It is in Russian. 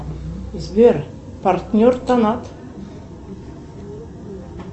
сбер партнер тонат